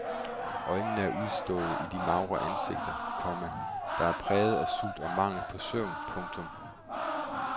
Øjnene er udstående i de magre ansigter, komma der er præget af sult og mangel på søvn. punktum